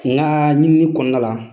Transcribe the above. N ka ɲinini kɔnɔna la .